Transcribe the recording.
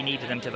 ekkert endilega